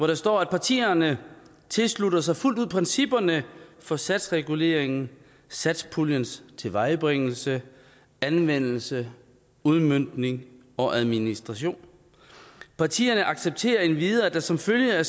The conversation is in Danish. der står at partierne tilslutter sig fuldt ud principperne for satsreguleringen satspuljens tilvejebringelse anvendelse udmøntning og administration partierne accepterer endvidere at der som følge